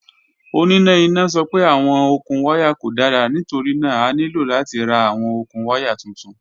Onina ina sọ pe awọn okun waya ko dara nitorina a nilo lati ra awọn okun waya tuntun.